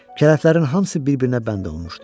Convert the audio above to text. Kələflərin hamısı bir-birinə bənd olunmuşdu.